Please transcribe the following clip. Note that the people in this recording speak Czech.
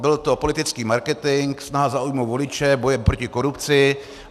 Byl to politický marketing, snaha zaujmout voliče bojem proti korupci.